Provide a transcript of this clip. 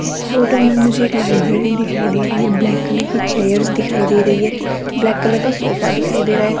इस फोटो में मुझे एक लाइब्रेरी दिखाई दे रही है ब्लैक कलर की चेयर्स दिखाई दे रही है ब्लैक कलर का सोफा दिखाई दे रहा है।